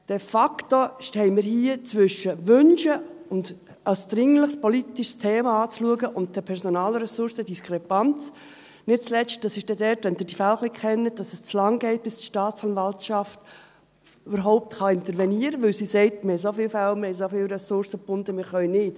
De facto stehen wir hier zwischen wünschen, es als dringliches politisches Thema anzuschauen und der Personalressourcendiskrepanz, nicht zuletzt – das ist dann dort, wo Sie die Fälle ein bisschen kennen –, weil es zu lange geht, bis die Staatsanwaltschaft überhaupt intervenieren kann, weil sie sagt: «Wir haben so viele Fälle, wir haben so viele Ressourcen gebunden, wir können nicht.»